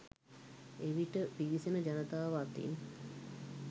එවිට පිවිසෙන ජනතාව අතින්